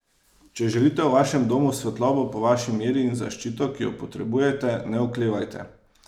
Če želite v vašem domu svetlobo po vaši meri in zaščito, ki jo potrebujete, ne oklevajte!